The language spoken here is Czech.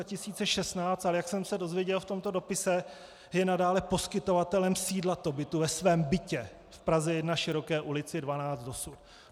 Ale jak jsem se dozvěděl v tomto dopise, je nadále poskytovatelem sídla Tobitu ve svém bytě v Praze 1, Široké ulici 12, dosud.